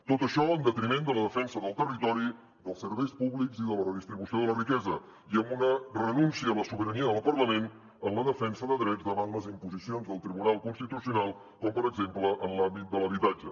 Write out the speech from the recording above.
tot això en detriment de la defensa del territori dels serveis públics i de la redistribució de la riquesa i amb una renúncia a la sobirania del parlament en la defensa de drets davant les imposicions del tribunal constitucional com per exemple en l’àmbit de l’habitatge